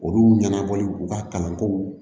Olu ɲɛnabɔli u ka kalanko